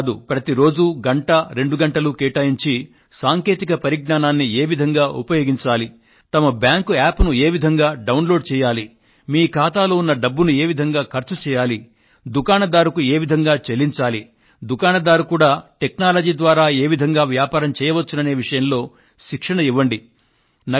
అంతే కాదు ప్రతి రోజూ గంట రెండు గంటలు కేటాయించి సాంకేతిక పరిజ్ఞానాన్ని ఏ విధంగా ఉపయోగించాలి తమ బ్యాంకు యాప్ ను ఏ విధంగా డౌన్ లోడ్ చేయాలి మీ ఖాతాలో ఉన్న డబ్బును ఏ విధంగా ఖర్చు చేయాలి దుకాణదారుకు ఏ విధంగా చెల్లించాలి దుకాణదారు కూడా టెక్నాలజీ ద్వారా ఏ విధంగా వ్యాపారం చేయవచ్చుననే విషయంలో శిక్షణ ఇవ్వండి